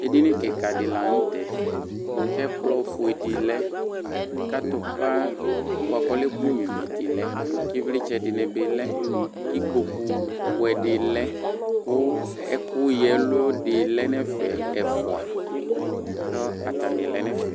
Ɛdini kika di lanʋtɛ kʋ ɛkplɔfue di lɛ kʋ atupa bʋakʋ ɔlɛ ɛkʋ nyua ivi dilɛ kʋ ivlitsɛ dinibi lɛ kʋ ikpokʋ buɛdi lɛ kʋ ɛkʋ ya ɛlʋ di lɛnʋ ɛfɛ ɛfʋa kʋ atani lɛnʋ ɛfɛ